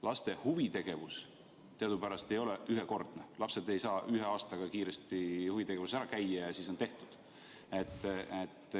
Laste huvitegevus teadupärast ei ole ühekordne, lapsed ei saa ühe aastaga huvitegevuses ära käidud.